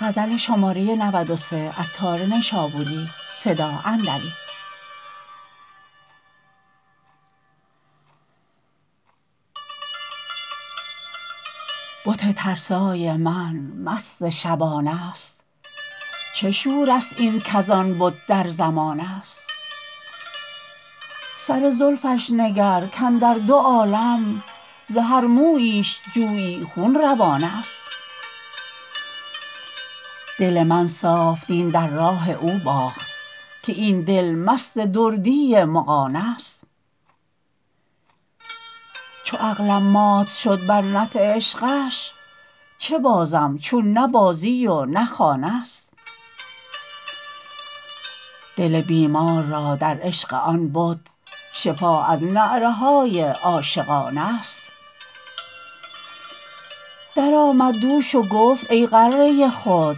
بت ترسای من مست شبانه است چه شور است این کزان بت در زمانه است سر زلفش نگر کاندر دو عالم ز هر موییش جویی خون روانه است دل من صاف دین در راه او باخت که این دل مست دردی مغانه است چو عقلم مات شد بر نطع عشقش چه بازم چون نه بازی و نه خانه است دل بیمار را در عشق آن بت شفا از نعره های عاشقانه است درآمد دوش و گفت ای غره خود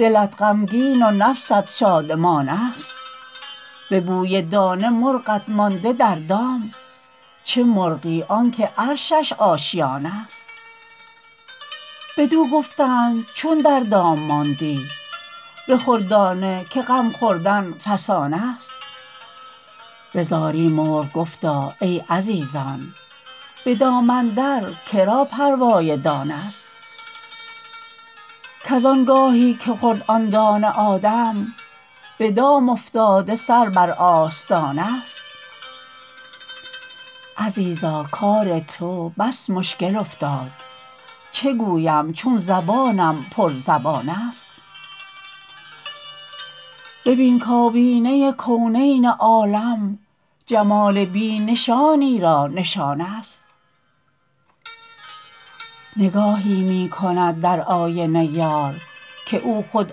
دلت غمگین و نفست شادمانه است به بوی دانه مرغت مانده در دام چه مرغی آنکه عرشش آشیانه است بدو گفتند چون در دام ماندی بخور دانه که غم خوردن فسانه است به زاری مرغ گفتا ای عزیزان به دام اندر که را پروای دانه است کز آنگاهی که خورد آن دانه آدم به دام افتاده سر بر آستانه است عزیزا کار تو بس مشکل افتاد چه گویم چون زبانم پر زبانه است ببین کایینه کونین عالم جمال بی نشانی را نشانه است نگاهی می کند در آینه یار که او خود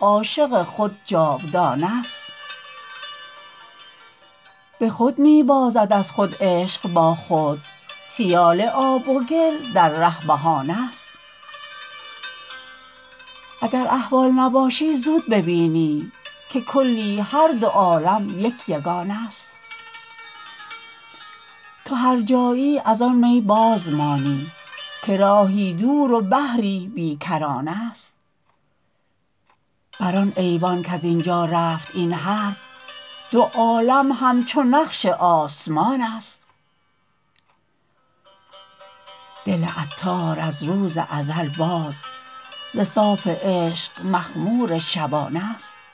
عاشق خود جاودانه است به خود می بازد از خود عشق با خود خیال آب و گل در ره بهانه است اگر احول نباشی زود ببینی که کلی هر دو عالم یک یگانه است تو هرجایی از آن می بازمانی که راهی دور و بحری بی کرانه است بر آن ایوان کز اینجا رفت این حرف دو عالم همچو نقش آسمانه است دل عطار از روز ازل باز ز صاف عشق مخمور شبانه است